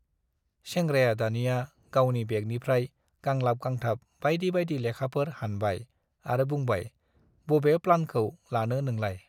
सेंग्राया दानिया गावनि बेगनिफ्राय गांलाब गांथाब बाइदि बाइदि लेखाफोर हानबाय आरो बुंबाय- बबे प्लानखौ लानो नोंलाय ?